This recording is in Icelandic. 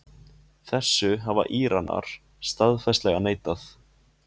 Þessu hafa Íranar staðfastlega neitað